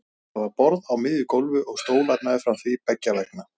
Það var borð á miðju gólfi og stólar meðfram því beggja vegna.